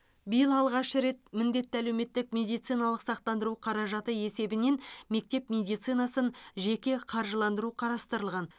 биыл алғаш рет міндетті әлеуметтік медициналық сақтандыру қаражаты есебінен мектеп медицинасын жеке қаржыландыру қарастырылған